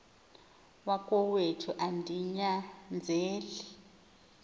wakowethu andi nyanzeli